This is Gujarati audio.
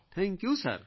thank you sir